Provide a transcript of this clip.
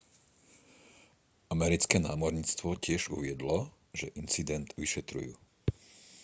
americké námorníctvo tiež uviedlo že incident vyšetrujú